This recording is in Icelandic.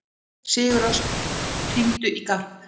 Sigurósk, hringdu í Garp.